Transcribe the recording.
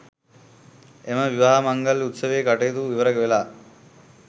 එම විවාහ මංගල උත්සවයේ කටයුතු ඉවරවෙලා